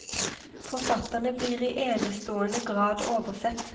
Forfatterne blir i enestående grad oversett.